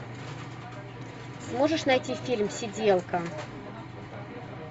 можешь найти фильм сиделка